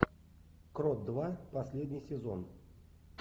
крот два последний сезон